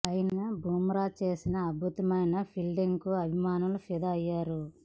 అయినా బుమ్రా చేసిన అద్భుతమైన ఫీల్డింగ్ కు అభిమానులు ఫిదా అయ్యారు